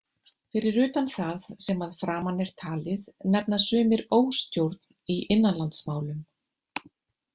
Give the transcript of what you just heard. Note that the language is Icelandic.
Fyrir utan það sem að framan er talið nefna sumir óstjórn í innanlandsmálum.